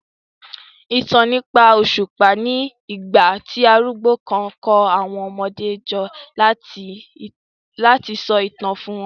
ìtàn nípa òṣùpá ní igbà tí arúgbó kán kò àwọn ọmọdé jọ lati so itan fún wọn